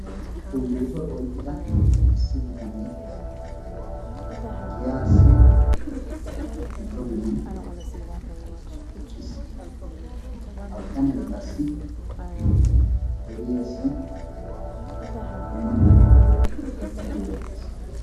Ulduduwaa oyqqida issi bitanee giyaasi giddo ginaan eqqis. Ha bitanee qassi deriyaassi dumma dumma oduwaa gattiidi beettees.